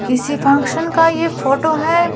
किसी फंक्शन का यह फोटो है।